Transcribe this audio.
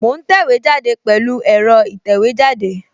Mo ń tẹ̀wé jáde pẹ̀lú ẹ̀rọ ìtẹ̀wẹ́jáde